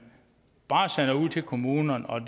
bare sender ud til kommunerne og